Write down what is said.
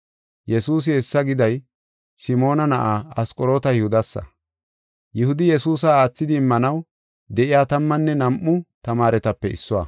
Yesuusi hessa giday Simoona Na7aa Asqoroota Yihudasa. Yihudi Yesuusa aathidi immanaw de7iya tammanne nam7u tamaaretape issuwa.